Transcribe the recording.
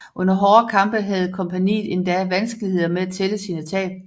Under hårde kampe havde kompagniet endda vanskeligheder med at tælle sine tab